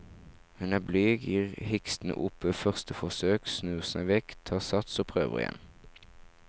Hun er blyg, gir hikstende opp ved første forsøk, snur seg vekk, tar sats og prøver igjen.